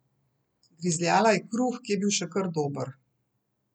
Grizljala je kruh, ki je bil še kar dober.